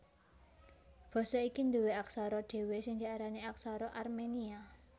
Basa iki nduwé aksara dhéwé sing diarani Aksara Armenia